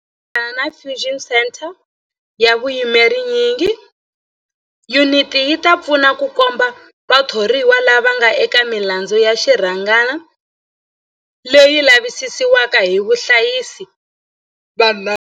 Hi ku tirhisana na Fusion Centre ya vuyimeri nyingi, yuniti yi ta pfuna ku komba vathoriwa lava nga eka milandzu ya xirhangana leyi lavisisiwaka hi vahlayisi va nawu.